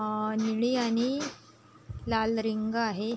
अ निळी आणि लाल रिंग आहे.